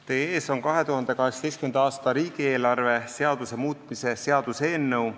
Teie ees on 2018. aasta riigieelarve seaduse muutmise seaduse eelnõu.